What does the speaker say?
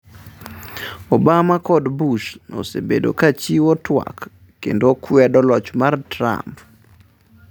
Obama kod Bush osebedo ka chiwo twak kendo kwedo loch mar Trump.